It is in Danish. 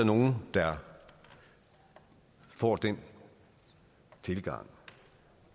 nogle der får den tilgang